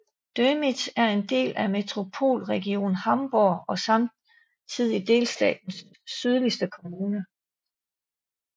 Dömitz er en del af Metropolregion Hamburg og samtidig delstatens sydligste kommune